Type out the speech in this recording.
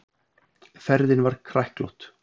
Ferðin var kræklótt.